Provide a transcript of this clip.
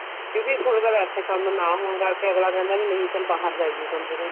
ਕਿਉਂਕਿ ਕੁੜੀ ਵਾਲੇ ਇੱਥੇ ਕੰਮ ਨਾ ਹੋਣ ਕਰਕੇ ਅੱਗਲਾ ਕਹਿੰਦਾ ਵੀ ਨਹੀਂ ਚੱਲ ਬਹਾਰ ਜਾਈਏ ਕੰਮ ਸੇ ਕੰਮ